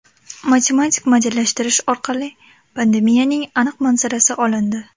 Matematik modellashtirish orqali pandemiyaning aniq manzarasi olindi.